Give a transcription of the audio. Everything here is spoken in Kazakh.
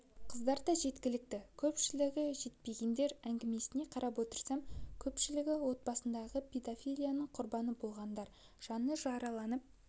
қыздар да жеткілікті көпшілігі жетпегендер әңгімесіне қарап отырсам көпшілігі отбасындағы педофилияның құрбаны болғандар жаны жараланып